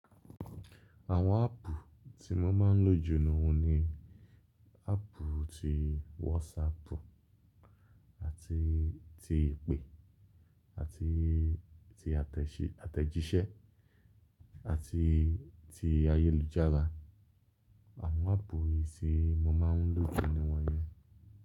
Àwọn áàpù tí mo máa ń lò jù nù ni áàpù tí WhatsApp àti ti ìpè àti ti àtẹ̀jíṣẹ́ àti ti ayélujára. Àwọn áàpù èsì mo máa ń lò jù ni wọ́n yẹn.